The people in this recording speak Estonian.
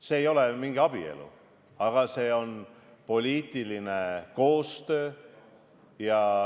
See ei ole mingi abielu, aga see on poliitiline koostöö.